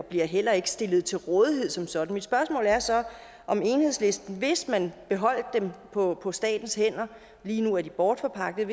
bliver heller ikke stillet til rådighed som sådan mit spørgsmål er så hvis man beholdt dem på på statens hænder lige nu er de bortforpagtede